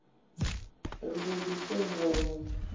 ri do di senga hunwe